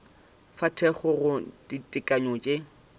fa thekgo go ditekanyo tše